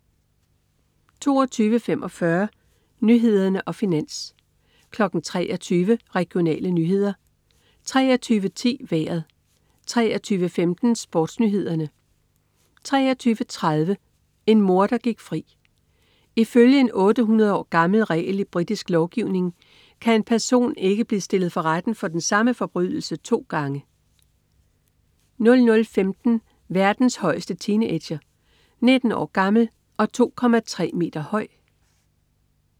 22.45 Nyhederne og Finans 23.00 Regionale nyheder 23.10 Vejret 23.15 SportsNyhederne 23.30 En morder gik fri. I følge en 800 år gammel regel i britisk lovgivning kan en person ikke blive stillet for retten for den samme forbrydelse to gange 00.15 Verdens højeste teenager. 19 år gammel og 2,3 meter høj!